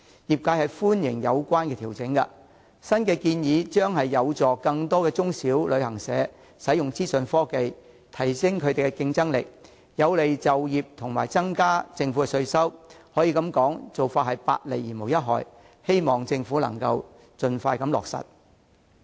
業界歡迎有關調整，認為新建議有助更多中小型旅行社使用資訊科技，提升競爭力，有利就業及增加政府稅收，可說是百利而無一害，希望政府盡快予以落實。